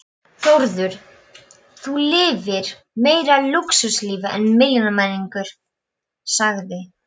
Þórður: Þú lifir meira lúxuslífi en milljónamæringar sagði